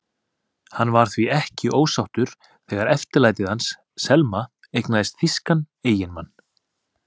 Hann var því ekki ósáttur þegar eftirlætið hans, Selma, eignaðist þýskan eiginmann.